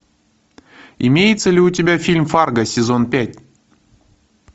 имеется ли у тебя фильм фарго сезон пять